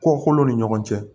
Kɔkolo ni ɲɔgɔn cɛ